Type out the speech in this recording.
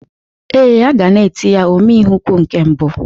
Ee, a ga na-eti ya "Ome ihe ukwu nke mbụ"